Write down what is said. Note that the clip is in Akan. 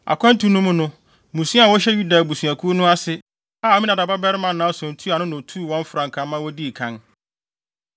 Akwantu no mu no, mmusua a wɔhyɛ Yuda abusuakuw no ase, a Aminadab babarima Nahson tua ano na otuu wɔn frankaa ma wodii kan.